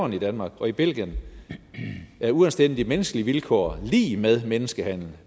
i danmark og i belgien er uanstændige menneskelige vilkår lig med menneskehandel